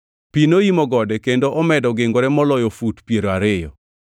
Pi noimo gode kendo omedo gingore moloyo fut piero ariyo